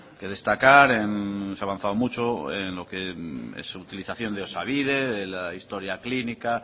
que destacar se ha avanzado mucho en lo que es utilización de osabide de la historia clínica